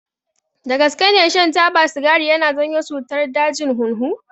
Dagaske ne shan taba sigari yana janyo cutar dajin hunhu.